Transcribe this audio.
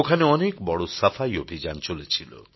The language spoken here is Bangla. ওখানে অনেক বড় সাফাই অভিযান চলেছিল